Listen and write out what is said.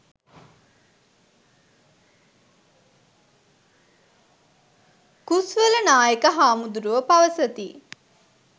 කුස්වල නායක හාමුදුරුවෝ පවසති.